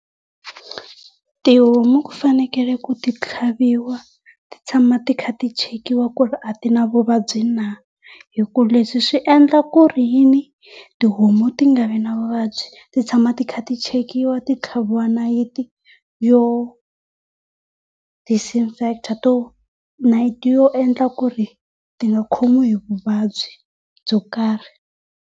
Tihomu ku fanekele ku ti tlhaviwa ti tshama ti kha ti chekiwa ku ri a ti na vuvabyi na hi ku leswi swi endla ku ri yini, tihomu ti nga vi na vuvabyi, ti tshama ti kha ti chekiwa ti tlhaviwa nayiti yo nayiti yo endla ku ri ti nga khomiwi hi vuvabyi byo karhi.